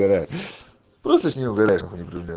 просто с нее угараешь неупрежденно